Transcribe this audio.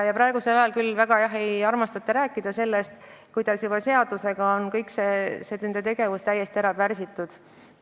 Praegu ei armastata väga rääkida sellest, kuidas juba seadusega on sisekontrollitöötajate võimalik tegevus ära pärsitud.